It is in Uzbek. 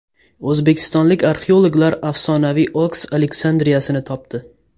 O‘zbekistonlik arxeologlar afsonaviy Oks Aleksandriyasini topdi.